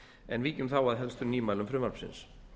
en víkjum þá að helstu nýmælum frumvarpsins